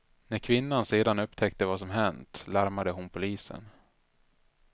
När kvinnan sedan upptäckte vad som hänt larmade hon polisen.